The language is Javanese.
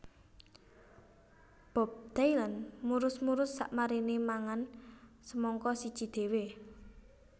Bob Dylan murus murus sakmarine mangan semangka siji dhewe